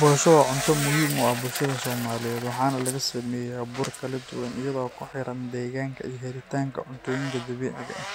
Bosho waa cunto muhiim u ah bulshada Soomaaliyeed, waxaana laga sameeyaa bur kala duwan iyadoo ku xiran deegaanka iyo helitaanka cuntooyinka dabiiciga ah.